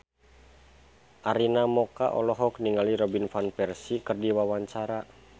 Arina Mocca olohok ningali Robin Van Persie keur diwawancara